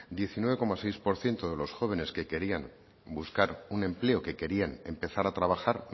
diecinueve coma seis por ciento de los jóvenes que querían buscar un empleo que querían empezar a trabajar